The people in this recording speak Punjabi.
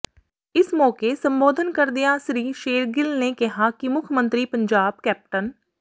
ਇਸ ਮੋਕੇ ਸੰਬੋਧਨ ਕਰਦਿਆਂ ਸ੍ਰੀ ਸ਼ੇਰਗਿੱਲ ਨੇ ਕਿਹਾ ਕਿ ਮੁੱਖ ਮੰਤਰੀ ਪੰਜਾਬ ਕੈਪਟਨ